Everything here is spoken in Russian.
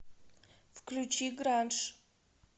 включи гранж